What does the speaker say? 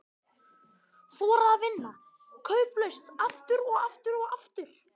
Þora að vinna kauplaust, aftur og aftur og aftur.